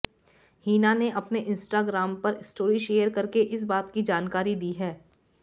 हिना ने अपने इंस्टाग्राम पर स्टोरी शेयर करके इस बात की जानकारी दी है